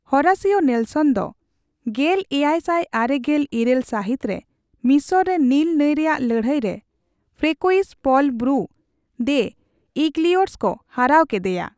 Horatio Nelson ᱫᱚ ᱜᱮᱞ ᱮᱭᱟᱭ ᱥᱟᱭ ᱟᱨᱮᱜᱮᱞ ᱤᱨᱟᱹᱞ ᱥᱟᱹᱦᱤᱛ ᱨᱮ ᱢᱤᱥᱨᱚ ᱨᱮ ᱱᱤᱞ ᱱᱟᱹᱭ ᱨᱮᱭᱟᱜ ᱞᱟᱹᱲᱦᱟᱹᱭ ᱨᱮ ᱯᱷᱨᱮᱠᱚᱭᱤᱥᱼᱯᱚᱞ ᱵᱨᱩ ᱫᱮ ᱤᱜᱞᱤᱭᱚᱨᱥ ᱠᱚ ᱦᱟᱨᱟᱣ ᱠᱮᱫᱮᱭᱟ ᱾